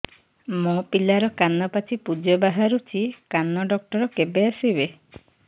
ମୋ ପିଲାର କାନ ପାଚି ପୂଜ ବାହାରୁଚି କାନ ଡକ୍ଟର କେବେ ଆସିବେ